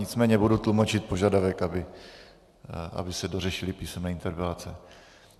Nicméně budu tlumočit požadavek, aby se dořešily písemné interpelace.